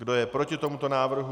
Kdo je proti tomuto návrhu?